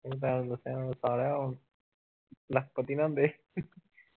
ਹੁੰਦਾ ਸਾਲਿਆ ਹੁਣ ਲੱਖਪਤੀ ਨਾ ਹੁੰਦੇ